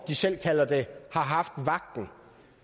de selv kalder det jeg